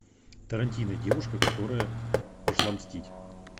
тарантино девушка которая пошла мстить